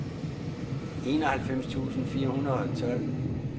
enoghalvfems tusind fire hundrede og tolv